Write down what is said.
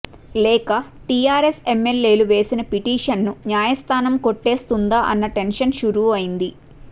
లేక టిఆర్ఎస్ ఎమ్మెల్యేలు వేసిన పిటిషన్ ను న్యాయస్థానం కొట్టేస్తుందా అన్న టెన్షన్ షురూ అయింది